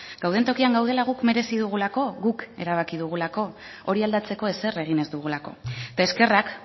gauden tokian gaudela guk merezi dugulako guk erabaki dugulako hori aldatzeko ezer egin ez dugulako eta eskerrak